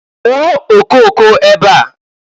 Kụọ okooko ebe a!